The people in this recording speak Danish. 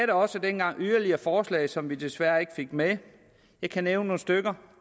da også dengang yderligere forslag som vi desværre ikke fik med jeg kan nævne nogle stykker